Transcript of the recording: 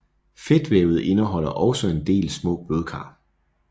Fedtvævet indeholder også en del små blodkar